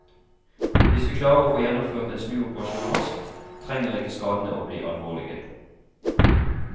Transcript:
Hvis vi klarer å få gjennomført en snuoperasjon raskt, trenger ikke skadene å bli alvorlige.